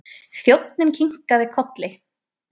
Þjónninn kinkaði kolli.